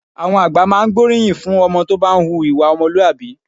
Àwọn àgbà máa ń gbóríyìn fún ọmọ tó bá ń hu ìwà ọmọlúwàbí